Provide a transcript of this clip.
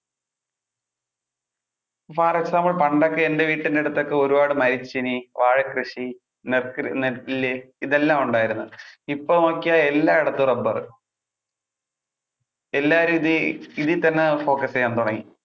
for example പണ്ടൊക്കെ എന്‍ടെ വീടിന്‍ടെ അടുത്തൊക്കെ ഒരുപാട് മരച്ചീനി, വാഴകൃഷി, നെൽകൃ~ നെല്ല് ഇതെല്ലാം ഉണ്ടായിരുന്നു. ഇപ്പൊ നോക്കിയാൽ എല്ലാടത്തും റബ്ബർ എല്ലാവരും ഇത്~ഇതിൽ തന്നെ focus ചെയ്യാൻ തുടങ്ങി.